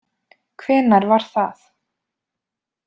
Hvenær var það?